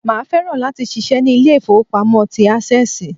Màá fẹ́ràn láti ṣiṣẹ́ ní Ilé ìfowópamọ́ tí Access